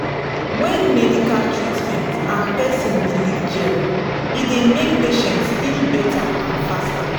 when medical treatment and person belief jell e dey make patients heal better and faster.